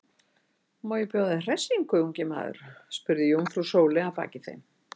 Má ég bjóða þér hressingu, ungi maður? spurði jómfrú Sóley að baki þeim.